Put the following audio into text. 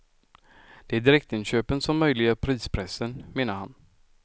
Det är direktinköpen som möjliggör prispressen, menar han.